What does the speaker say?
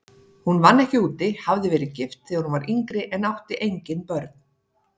Hún vann ekki úti, hafði verið gift þegar hún var yngri en átti engin börn.